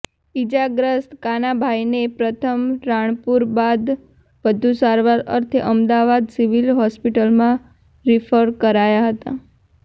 ઈજાગ્રસ્ત કાનાભાઈને પ્રથમ રાણપુર બાદ વધુ સારવાર અર્થે અમદાવાદ સિવિલ હોસ્પિટલમાં રિફર કરાયાં હતા